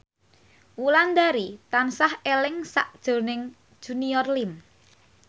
Wulandari tansah eling sakjroning Junior Liem